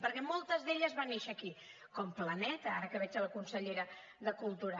perquè moltes d’elles van néixer aquí com planeta ara que veig la consellera de cultura